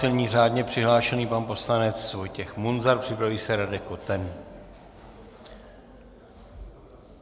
Nyní řádně přihlášený pan poslanec Vojtěch Munzar, připraví se Radek Koten.